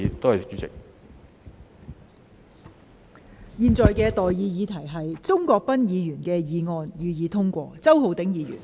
我現在向各位提出的待議議題是：鍾國斌議員動議的議案，予以通過。